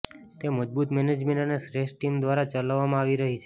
તે મજબૂત મેનેજમેન્ટ અને શ્રેષ્ઠ ટીમ દ્વારા ચલાવવામાં આવી રહી છે